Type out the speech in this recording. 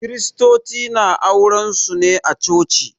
Kiristoci na auren su ne a Coci.